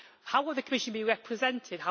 How will the Commission be represented?